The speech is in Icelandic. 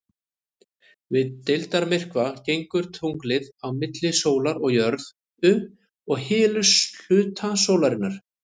Við deildarmyrkva gengur tunglið á milli sólar og jörðu og hylur hluta sólarinnar.